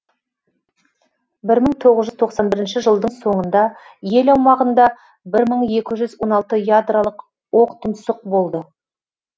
бір мың тоғыз жүз тоқсан бірінші жылдың соңында ел аумағында бір мың екі жүз он алты ядролық оқтұмсық болды